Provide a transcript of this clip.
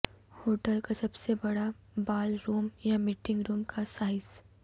hotel کا سب سے بڑا بال روم یا میٹنگ روم کا سائز